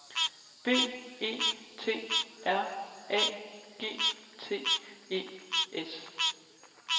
B E T R A G T E S